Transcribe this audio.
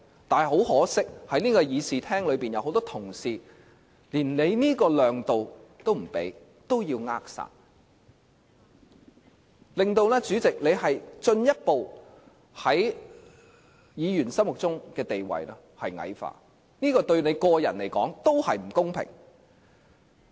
但很可惜，在這個議事廳內有很多同事，連你想給予量度也不可，要扼殺，令主席在議員心目中的地位進一步矮化，這對你個人來說也不公平。